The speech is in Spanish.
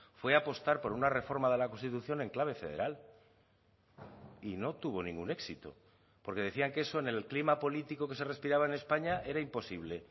fue apostar por una reforma de la constitución en clave federal y no tuvo ningún éxito porque decían que eso en el clima político que se respiraba en españa era imposible